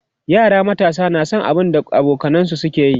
yara matasa na San kwaikwayon abun da abokanansu ke yi